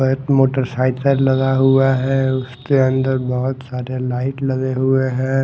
एक motorcycle लगा हुआ है उसके अंदर बहुत सारे लाइट लगे हुए हैं।